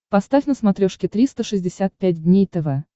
поставь на смотрешке триста шестьдесят пять дней тв